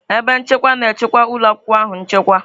Ebe nchekwa na-echekwa ụlọ akwụkwọ ahụ nchekwa.